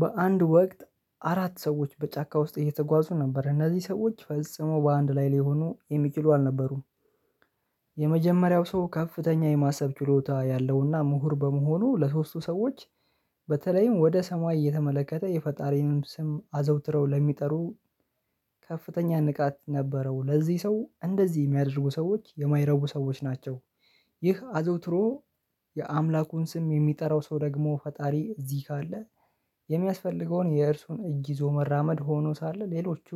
በአንድ ወቅት አራት ሰዎች በጫካ ውስጥ እየተጓዙ ነበር እነዚህ ሰዎች ፈጽመው በአንድ ላይ ሊሆኑ የሚችሉ አልነበሩም። የመጀመሪያው ሰው ከፍተኛ የማሰብ ችሎታ ያለውና ምሁር በመሆኑ ለሶስቱ ሰዎች በተለይም ወደ ሰማይ እየተመለከተ የፈጣሪንም ስም አዘውትረው ለሚጠሩ ከፍተኛ ንቃት ነበረው ለዚህ ሰው እንደዚህ የሚያደርጉ ሰዎች የማይረቡ ሰዎች ናቸው። ይህ አዘውትሮ የአምላኩን ስም የሚጠራው ሰው ደግሞ ፈጣሪ እዚህ ካለ። የሚያስፈልገውን የእርሱን እጅ ይዞ መራመድ ሆኖ ሳለ ሌሎቹ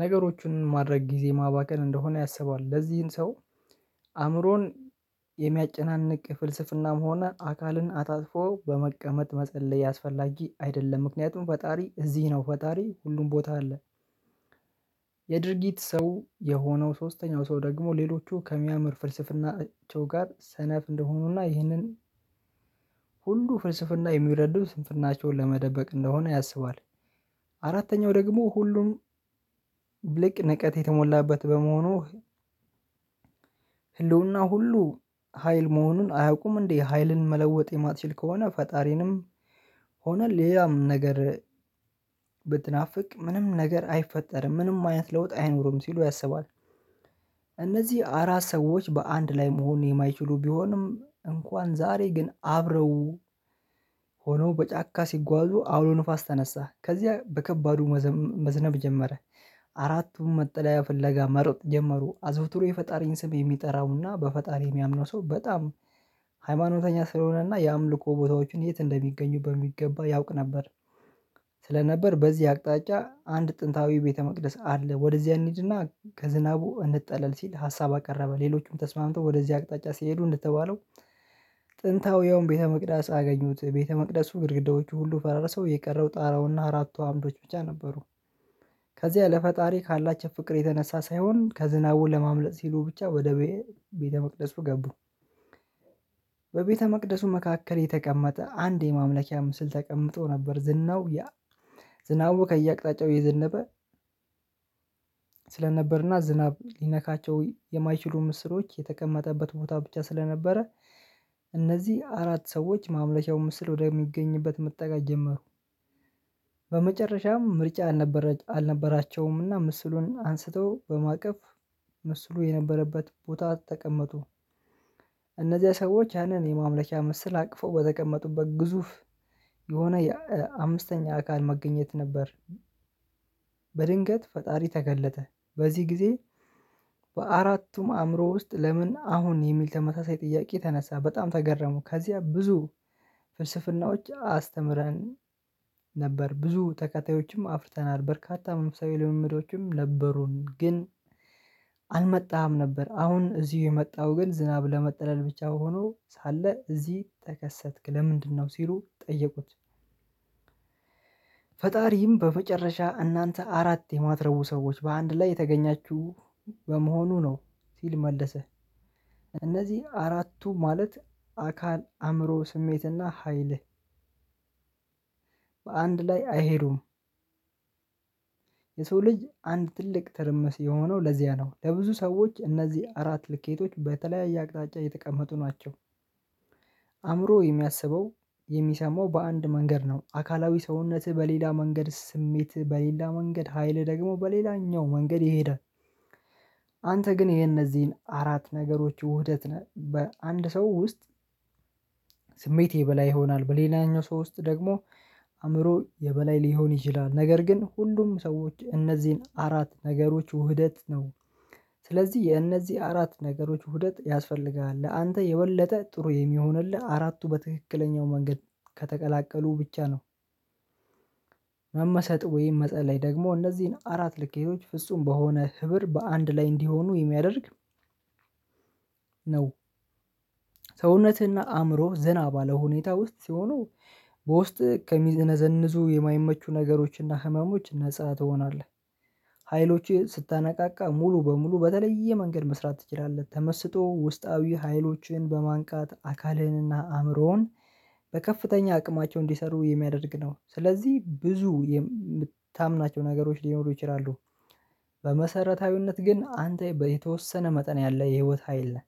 ነገሮችን ማድረግ ጊዜ ማባከን እንደሆነ ያሰባል። ለዚህን ሰው አእምሮን የሚያጨናንቅ ፍልስፍናም ሆነ አካልን አታጥፎ በመቀመጥ መጸለይ አስፈላጊ አይደለም። ምክንያቱም ፈጣሪ እዚህ ነው ፈጣሪ ሁሉም ቦታ አለ። የድርጊት ሰው የሆነው ሶስተኛው ሰው ደግሞ ሌሎቹ ከሚያምር ፍልስፍናቸው ጋር ሰነፍ እንደሆኑና ይህንን ሁሉ ፍልስፍና የሚረዱ ስንፍናቸውን ለመደበቅ እንደሆነ ያስባል። አራተኛው ደግሞ ሁሉም ብልቅ ንቀት የተሞላበት በመሆኑ ህልውና ሁሉ ሀይል መሆኑን አያውቁም እንዴ ሀይልን መለወጥ የማትችል ከሆነ ፈጣሪንም ሆነ ሌላም ነገር ብትናፍቅ ምንም ነገር አይፈጠርም ምንም አይነት ለውጥ አይኖርም ሲሉ ያስባል። እነዚህ አራት ሰዎች በአንድ ላይ መሆን የማይችሉ ቢሆንም እንኳን ዛሬ ግን አብረው ሆኖ በጫካ ሲጓዙ አውሎ ንፋስ ተነሳ ከዚያ በከባዱ መዝነብ ጀመረ። አራቱም መጠለያ ፍለጋ መሮጥ ጀመሩ አዘውትሮ የፈጣሪን ስም የሚጠራውና በፈጣሪ የሚያምነው ሰው በጣም ሃይማኖተኛ ስለሆነና የአምልኮ ቦታዎችን የት እንደሚገኙ በሚገባ ያውቅ ነበር። ስለነበር በዚህ አቅጣጫ አንድ ጥንታዊ ቤተ መቅደስ አለ ወደዚያ እንሂድና ከዝናቡ እንጠለል ሲል ሀሳብ አቀረበ። ሌሎችም ተስማምተው ወደዚህ አቅጣጫ ሲሄዱ እንደተባለው ጥንታዊውን ቤተ መቅዳስ አገኙት ቤተ መቅደሱ ግድግዳዎቹ ሁሉ ፈራረሰው የቀረው ጣራውና አራቱ አምዶች ብቻ ነበሩ። ከዚያ ለፈጣሪ ካላቸው ፍቅር የተነሳ ሳይሆን ከዝናቡ ለማምለጥ ሲሉ ብቻ ወደ ቤተ መቅደሱ ገቡ። በቤተመቅደሱ መካከል የተቀመጠ አንድ የማምለኪያ ምስል ተቀምጦ ነበር ዝናው ያ ዝናቡ ከየአቅጣጫው የዘነበ ስለነበርና ዝናብ ሊነካቸው የማይችሉ ምስሎች የተቀመጠበት ቦታ ብቻ ስለነበረ እነዚህ አራት ሰዎች ማምኪቻው ምስል ወደሚገኝበት መጠጋት ጀመሩ። በመጨረሻም ምርጫ አልነበራቸውምና ምስሉን አንስተው በማቀፍ ምስሉ የነበረበት ቦታ ተቀመጡ። እነዚያ ሰዎች ያንን የማምለኪያ ምሰል አቅፎ በተቀመጡበት ግዙፍ የሆነ አምስተኛ አካል መገኘት ነበር። በድንገት ፈጣሪ ተገለጠ በዚህ ጊዜ በአራቱም አእምሮ ውስጥ ለምን አሁን የሚል ተመታሳይ ጥያቄ ተነሳ። በጣም ተገረሙ ከዚያ ብዙ ፍልስፍናዎች አስተምረን ነበር ብዙ ተከታዮችም አፍርተናል በርካታ መነፍሳዊ ልምምዶችም ነበሩን ግን አልመጣም ነበር አሁን እዚሁ የመጣው ግን ዝናብ ለመጥለል ብቻ በሆኑ ሳለ እዚህ ተከሰትክ ለምንድነው ሲሉ ጠየቁት? ፈጣሪም በመጨረሻ እናንተ አራት የማትረቡ ሰዎች በአንድ ላይ የተገኛችሁ በመሆኑ ነው ሲል መለሰ። እነዚህ አራቱ ማለት አካል አእምሮ ስሜትና ሀይልህ በአንድ ላይ አይሄዱም። የሰው ልጅ አንድ ትልቅ ትርምስ የሆነው ለዚያ ነው ለብዙ ሰዎች እነዚህ አራት ልኬቶች በተለያየ አቅጣጫ የተቀመጡ ናቸው። አእምሮ የሚያስበው የሚሰማው በአንድ መንገድ ነው አካላዊ ሰውነትህ በሌላ መንገድ ስሜትህ በሌላ መንገድ ሀይል ደግሞ በሌላኛው መንገድ ይሄዳል። አንተ ግን ይሄ እነዚህን አራት ነገሮች ውህደት ነህ። በአንድ ሰው ውስጥ ስሜት የበላይ ይሆናል በሌላኛው ሰው ውስጥ ደግሞ አእምሮ የበላይ ሊሆን ይችላል ነገር ግን ሁሉም ሰዎች እነዚህን አራት ነገሮች ውህደት ነው። ስለዚህ የእነዚህ አራት ነገሮች ውህደት ያስፈልጋል ለአንተ የበለጠ ጥሩ የሚሆንልህ አራቱ በትክክለኛው መንገድ ከተቀላቀሉ ብቻ ነው። መመሰጥ ወይም መጸለይ ደግሞ እነዚህን አራት ልኬቶች ፍጹም በሆነ ህብር በአንድ ላይ እንዲሆኑ የሚያደርግ ነው። ሰውነትህና አእምሮህ ዝና ባለው ሁኔታ ውስጥ ሲሆኑ በውስጥ ከሚዘነዘንዙ የማይመቹ ነገሮችና ህመሞች ነፃ ትሆናለህ። ሀይሎችህ ስታነቃቃ ሙሉ በሙሉ በተለየ መንገድ መስራት ትችላለህ። ተመስጦ ውስጣዊ ሀይሎችህን በማንቃት አካልህንና አእምሮህን በከፍተኛ አቅማቸው እንዲሰሩ የሚያደርግ ነው። ስለዚህ ብዙ የምታምናቸው ነገሮች ሊኖሩ ይችላሉ። በመሰረታዊነት ግን አንተ የተወሰነ መጠን ያለ የህይወት ሀይል ነህ።